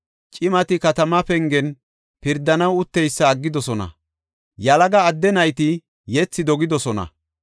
Cimati katama pengen pirdanaw utteysa aggidosona; yalaga addeti nayti yethi dogidosona.